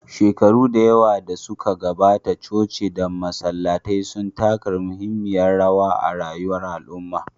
Shekaru da yawa da suka gabata, coci da masallatai sun taka muhimmiyar rawa a rayuwar al'umma.